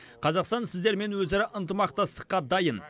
қазақстан сіздермен өзара ынтымақтастыққа дайын